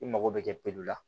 I mago bɛ kɛ la